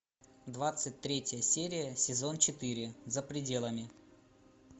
двадцать третья серия сезон четыре за пределами